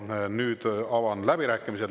Ja nüüd avan läbirääkimised.